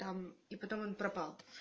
там и потом он пропал